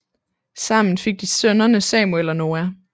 Sammen fik de sønnerne Samuel og Noah